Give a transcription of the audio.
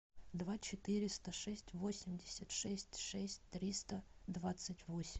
два четыреста шесть восемьдесят шесть шесть триста двадцать восемь